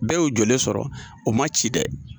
Bɛɛ y'o jɔlen sɔrɔ o ma ci dɛ,